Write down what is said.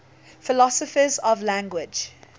philosophers of language